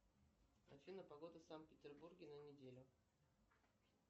афина погода в санкт петербурге на неделю